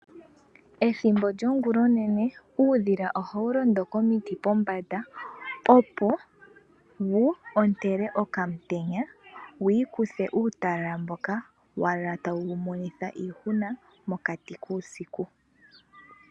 Ethimbo lyongula onene uudhila ohawu londo komiti pombanda opo wu ontele okaantenya, wi ikuthe uutalala mboka wa lala tawu wu monitha iihuna mokati kuusiku.